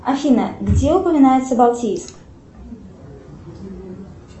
афина где упоминается балтийск